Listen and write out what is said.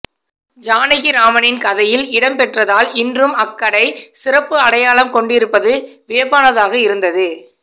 ஜானகிராமனின் கதையில் இடம்பெற்றதால் இன்றும் அக்கடை சிறப்பு அடையாளம் கொண்டிருப்பது வியப்பானதாக இருந்தது